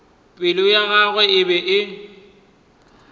pelo ya gagwe e be